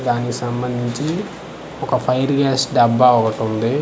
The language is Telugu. దానికి సంబందించీ ఒక ఫైర్ గ్యాస్ డబ్బా ఒకటుంది .